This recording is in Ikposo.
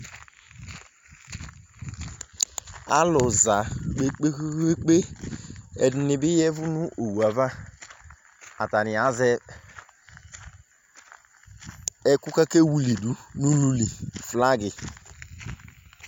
Alʊ za kpe kpe kpe kpe kpe Ɛdinibi yɛvʊ nu owuva Atanɩ azɛ ɛkʊ kakewilidu nululi Flagi